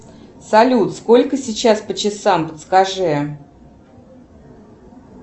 салют сколько сейчас по часам подскажи